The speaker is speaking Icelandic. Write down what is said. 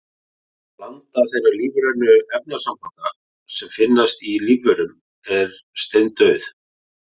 Blanda þeirra lífrænu efnasambanda sem finnast í lífverum er steindauð.